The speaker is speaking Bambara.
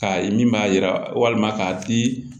K'a ye min b'a yira walima k'a di